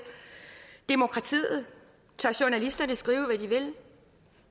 demokratiet tør journalisterne skrive hvad de vil